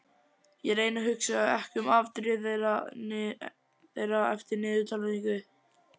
Ég reyni að hugsa ekki um afdrif þeirra eftir niðurtalningu.